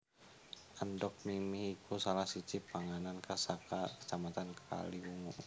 Endhog mimi iku salah siji panganan khas saka Kacamatan Kaliwungu